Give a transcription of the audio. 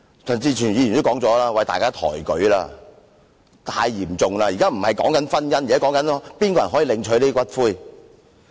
正如陳志全議員說，大家抬舉了，這說法太嚴重了，現不是討論婚姻制度，而是誰可領取骨灰。